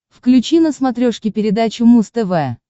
включи на смотрешке передачу муз тв